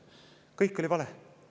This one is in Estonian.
Kõik oli vale!